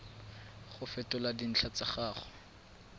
go fetola dintlha tsa gago